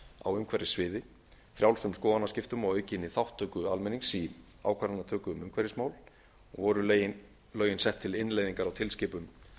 á umhverfissviði frjálsum skoðanaskiptum og aukinni þátttöku almennings í ákvarðanatöku um umhverfismál og voru lögin sett til innleiðingar á tilskipun